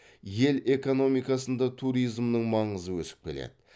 ел экономикасында туризмнің маңызы өсіп келеді